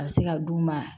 A bɛ se ka d'u ma